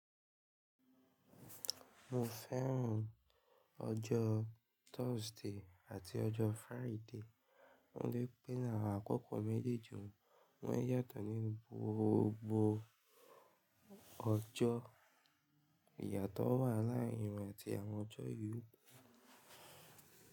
Mo fẹ́ràn ọjọ́ Thursday àti ọjọ́ Friday, ó dá pé làwọn àkókò méjèèjì wọn yàtọ̀ nínú gbogbo ọjọ́. Ìyàtọ̀ wà láàárín wọn àti àwọn ọjọ́ yii.